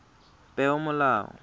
peomolao